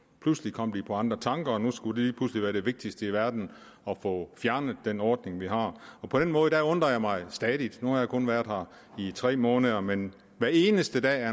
pludselig kom de på andre tanker og nu skulle det lige pludselig være det vigtigste i verden at få fjernet den ordning vi har på den måde undrer jeg mig stadighed nu har jeg kun været her i tre måneder men hver eneste dag er